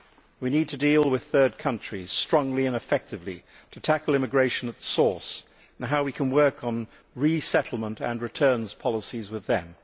We need to deal with third countries strongly and effectively to tackle immigration at source, and how we can work on resettlement and returns policies with them.